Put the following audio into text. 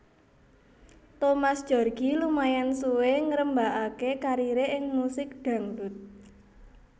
Thomas Djorghi lumayan suwé ngrembakaké kariré ing musik dhangdut